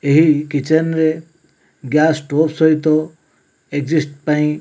ଏହି କିଚେନ ରେ gas stove ସହିତ ଏଜେଶ୍ଟ ପାଇଁ।